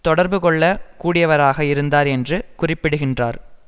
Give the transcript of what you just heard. தொடர்பு கொள்ள கூடியவராக இருந்தார் என்று குறிப்பிடுகின்றார்